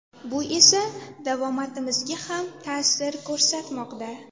Bu esa davomatimizga ham ta’sir ko‘rsatmoqda”.